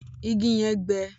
Ìgi yẹn gbẹ.